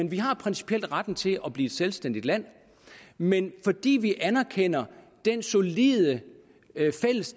vi har principielt retten til at blive et selvstændigt land men fordi vi anerkender det solide